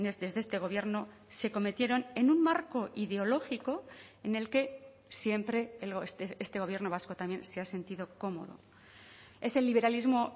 desde este gobierno se cometieron en un marco ideológico en el que siempre este gobierno vasco también se ha sentido cómodo es el liberalismo